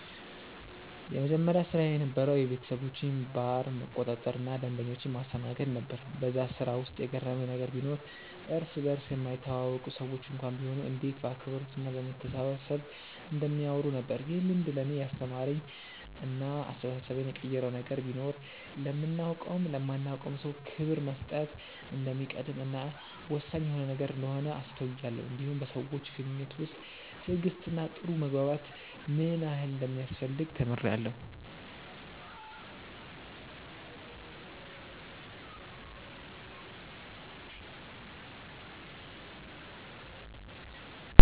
የመጀመሪያ ስራዬ የነበረዉ የቤተሰቦቼን ባር መቆጣጠር እና ደንበኞችን ማስተናገድ ነበር በዛ ስራ ውስጥ የገረመኝ ነገር ቢኖር እርስ በርስ የማይተዋወቁ ሰዎች እንኳን ቢሆኑ እንዴት በአክብሮት እና በመተሳሰብ እንደሚያወሩ ነበር። ይህ ልምድ ለእኔ ያስተማረኝ እና አስተሳሰቤን የቀየረው ነገር ቢኖር ለምናቀውም ለማናቀውም ሰው ክብር መስጠት እንደሚቀድም እና ወሳኝ የሆነ ነገር እንደሆነ አስተውያለው እንዲሁም በሰዎች ግንኙነት ውስጥ ትዕግስት እና ጥሩ መግባባት ምን ያህል እንደሚያስፈልግ ተምሬአለሁ።